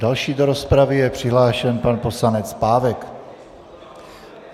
Další do rozpravy je přihlášen pan poslanec Pávek.